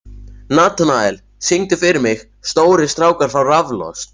Natanael, syngdu fyrir mig „Stórir strákar fá raflost“.